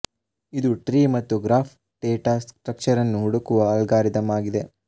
ಇದು ಟ್ರೀ ಮತ್ತು graph data ಸ್ಟ್ರಕ್ಚರನ್ನು ಹುಡುಕುವ ಅಲ್ಗಾರಿದಮ್ ಆಗಿದೆ